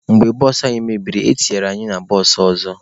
Mgbe bụsụ anyị mebiri, etinyere anyị na bụsụụ ọzọ.